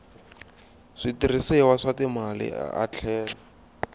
switirhisiwa swa timali a tlhela